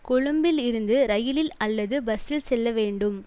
கொழும்பில் இருந்து ரயிலில் அல்லது பஸ்ஸில் செல்ல வேண்டும்